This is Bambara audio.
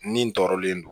Nin tɔɔrɔlen don